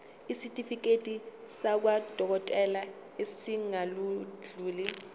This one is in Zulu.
isitifiketi sakwadokodela esingadluli